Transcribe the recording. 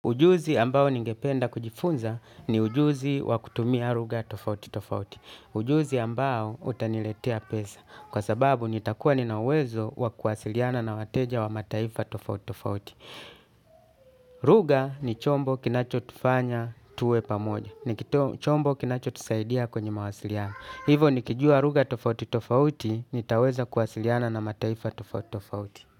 Ujuzi ambao ningependa kujifunza ni ujuzi wa kutumia lugha tofauti tofauti. Ujuzi ambao utaniletea pesa kwa sababu nitakuwa nina uwezo wa kuwasiliana na wateja wa mataifa tofauti tofauti. Lugha ni chombo kinacho tufanya tuwe pamoja. Ni chombo kinacho tusaidia kwenye mawasiliano. Hivyo nikijua lugha tofauti tofauti nitaweza kuwasiliana na mataifa tofauti tofauti.